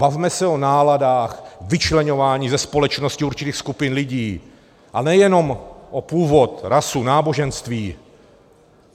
Bavme se o náladách, vyčleňování ze společnosti určitých skupin lidí, a nejenom o původ, rasu, náboženství.